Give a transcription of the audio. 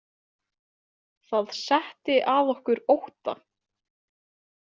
Það setti að okkur ótta.